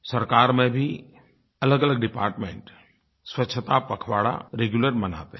सरकार में भी अलगअलग डिपार्टमेंट स्वच्छता पखवाड़ा रेग्यूलर मनाते हैं